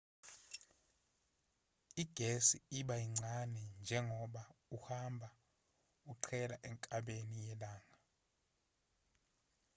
igesi iba yincane njengoba uhamba uqhela enkabeni yelanga